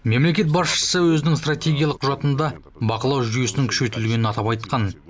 мемлекет басшысы өзінің стратегиялық құжатында бақылау жүйесінің күшейтілгенін атап айтқан